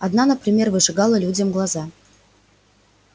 одна например выжигала людям глаза